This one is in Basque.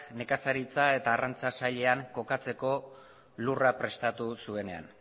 nekazaritza eta arrantza sailean kokatzeko lurra prestatu zuenean